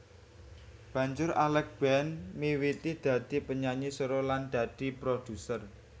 Banjur Alex Band miwiti dadi penyanyi solo lan dadi produser